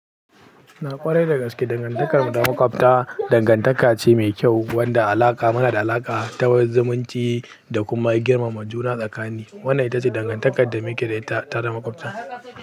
Na ƙware da gaske, dangantakar mu ta makwabta dangantaka ce mai kyau wanda alaƙa muna da alaƙa ta zumunci da kuma girmama juna tsakanin. Wannan itace dangantakar da muke da ita tare da makwabta.